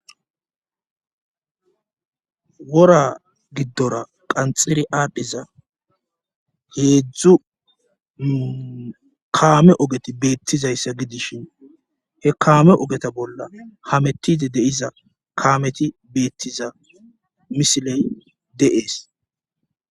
Wora giddora qanxiri aadhdhiza heedzdzu kaame ogeti beettizayssa gidishin he kaame ogeta bolla hamettide deiza kaameti beettiza misiley de'ees